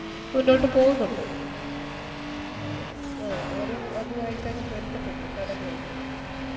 മുന്നോട്ട് പോകുന്നുണ്ട് ആ അവര് അതായിട്ടങ് പൊരുത്തപ്പെട്ടു കടലുവായിറ്റെ